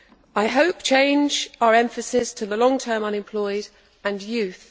I hope we change our emphasis to the long term unemployed and youth.